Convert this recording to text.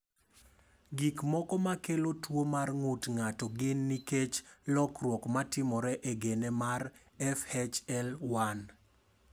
Gik moko ma kelo tuwo mar ng’ut ng’ato gin nikech lokruok ma timore e gene mar FHL1.